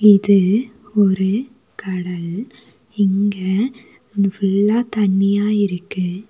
இது ஒரு கடல் இங்க ஃபுல்லா தண்ணியா இருக்கு.